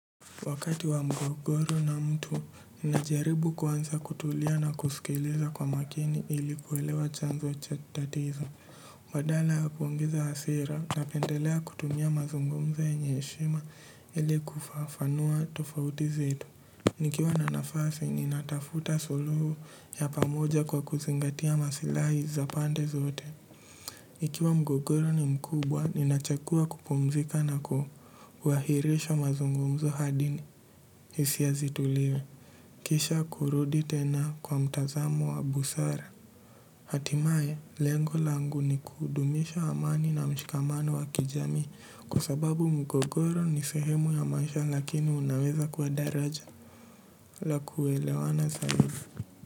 Wakati wa mgogoro na mtu, ninajaribu kwanza kutulia na kusikiliza kwa makini ilikuwelewa chanzo cha tatizo. Badala ya kuongeza hasira na pendelea kutumia mazungumzo yenye heshima ili kufafanua tofauti zetu. Nikiwa na nafasi, ninatafuta suluhu ya pamoja kwa kuzingatia masilahi za pande zote. Ikiwa mgogoro ni mkubwa, ninachakua kupumzika na kuhu, wahirisha mazungumzo hadi ni, hisia zitulie. Kisha kurudi tena kwa mtazamo wa busara. Hatimaye, lengo langu ni kudumisha amani na mshikamano wa kijami, kwa sababu mgogoro ni sehemu ya maisha lakini unaweza kuwa daraja la kuelewana zaibu.